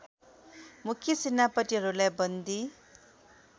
मुख्य सेनापतिहरूलाई बन्दी